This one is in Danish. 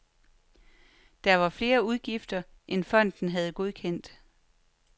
Der var flere udgifter, end fonden havde godkendt.